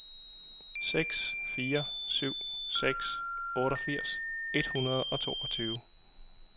seks fire syv seks otteogfirs et hundrede og toogtyve